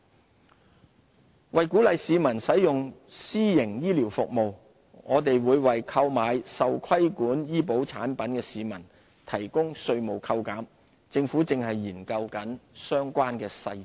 自願醫保計劃為鼓勵市民使用私營醫療服務，我們會為購買受規管醫保產品的市民提供稅務扣減，政府正研究相關細節。